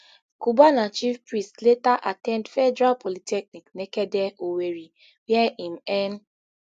cubana chief priest later at ten d federal polytechnic nekede owerri wia im earn